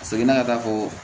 A seginna ka taa fɔ